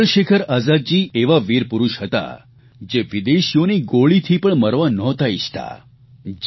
અને ચંદ્રશેખર આઝાદજી એવા વીરપુરૂષ હતા જે વિદેશીઓની ગોળીથી મરવા પણ નહોતા ઇચ્છતા